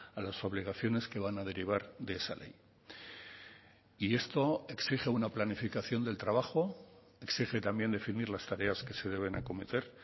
a las obligaciones que van a derivar de esa ley y esto exige una planificación del trabajo exige también definir las tareas que se deben acometer